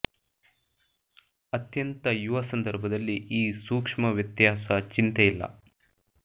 ಅತ್ಯಂತ ಯುವ ಸಂದರ್ಭದಲ್ಲಿ ಈ ಸೂಕ್ಷ್ಮ ವ್ಯತ್ಯಾಸ ಚಿಂತೆ ಇಲ್ಲ